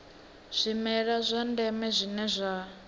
zwimela zwa ndeme zwine zwa